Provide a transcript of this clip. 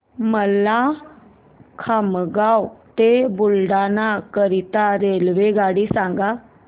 मला खामगाव ते बुलढाणा करीता रेल्वेगाडी सांगा